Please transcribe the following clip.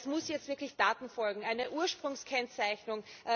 Es müssen jetzt wirklich Taten folgen eine Ursprungskennzeichnung.